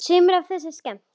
Sumt af því er skemmt.